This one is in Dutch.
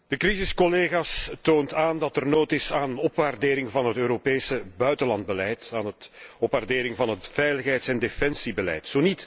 De crisis, collega's, toont aan dat er nood is aan opwaardering van het Europese buitenlandbeleid, aan een opwaardering van het veiligheids en defensiebeleid.